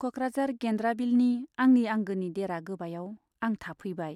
क'क्राझार गेन्द्राबिलनि आंनि आंगोनि देरा गोबायाव आं थाफैबाय।